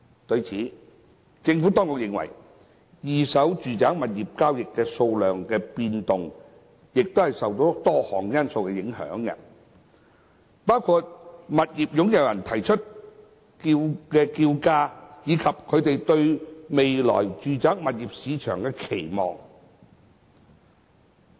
對此，政府當局認為二手住宅物業交易數量的變動亦受多項因素影響，包括物業擁有人提出的叫價，以及他們對未來住宅物業市場的期望。